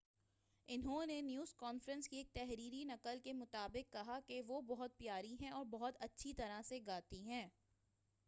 انہوں نے news conference کی ایک تحریری نقل کے مطابق کہا کہ وہ بہت پیاری ہیں اور بہت اچھی طرح سے گاتی ہیں